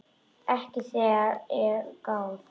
Ekki þegar að er gáð.